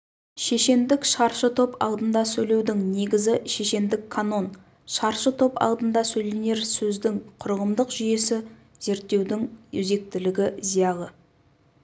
шешендік шаршы топ алдында сөйлеудің негізі шешендік канон шаршы топ алдында сөйленер сөздің құрылымдық жүйесі зерттеудің өзектілігі зиялы